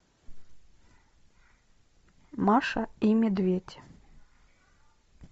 маша и медведь